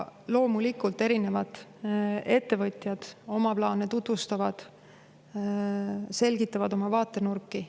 Loomulikult erinevad ettevõtjad oma plaane tutvustavad, selgitavad oma vaatenurki.